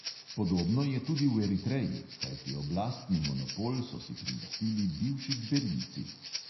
Podobno je tudi v eritreji, kajti oblastni monopol so si prilastili bivši gverilci.